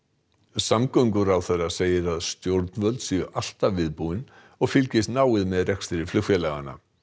samgönguráðherra segir að stjórnvöld séu alltaf viðbúin og fylgist náið með rekstri flugfélaganna